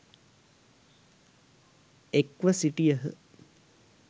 එක්ව සිටියහ.